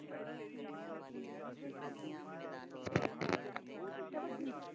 ਕਿਥੇ ਵਜੀ